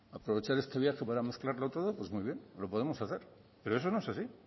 aprovechar este viaje para mezclarlo todo pues muy bien lo podemos hacer pero eso no es así